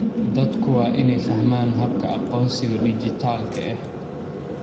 Dadku waa inay fahmaan habka aqoonsiga dhijitaalka ah.